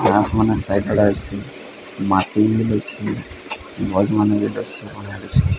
Gas ମାନେ site ରେ ଲାଗିଛି। ମାଠିଏ ମିଲୁଛି